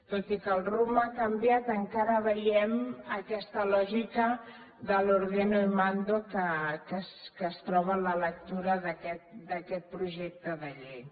tot i que el rumb ha canviat encara veiem aquesta lògica de l’ordeno y mando que es troba en la lectura d’aquest projecte de llei